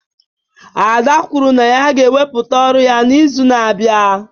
Ada kwuru na ya ga-ewepụta ọrụ ya n'izu na-abịa